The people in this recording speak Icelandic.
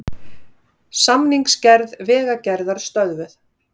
Samningsgerð Vegagerðar stöðvuð